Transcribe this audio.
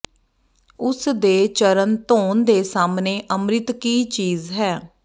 ਉਸ ਦੇ ਚਰਨ ਧੋਣ ਦੇ ਸਾਹਮਣੇ ਅੰਮ੍ਰਿਤ ਕੀ ਚੀਜ਼ ਹੈ